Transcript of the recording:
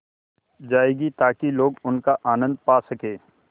जाएगी ताकि लोग उनका आनन्द पा सकें